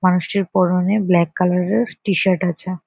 মানুষটির পরনে black colour এর টি শার্ট আছে।